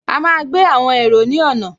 A máa gbé àwọn èrò ní ọ̀nà